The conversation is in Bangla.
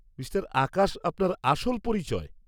-মিঃ আকাশ আপনার আসল পরিচয়।